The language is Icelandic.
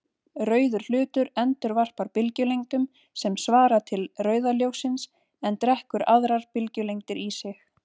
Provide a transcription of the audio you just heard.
Rauður hlutur endurvarpar bylgjulengdum sem svara til rauða ljóssins en drekkur aðrar bylgjulengdir í sig.